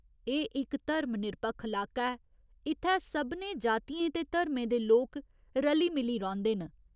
एह् इक धर्म निरपक्ख लाका ऐ, इत्थै सभनें जातियें ते धर्में दे लोक रली मिली रौंह्दे न।